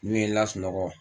N'u ye n lasunɔgɔ